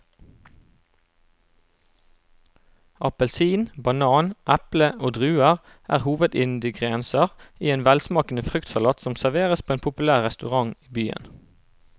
Appelsin, banan, eple og druer er hovedingredienser i en velsmakende fruktsalat som serveres på en populær restaurant i byen.